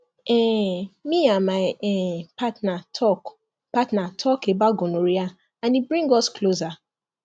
um me and my um partner talk partner talk about gonorrhea and e bring us closer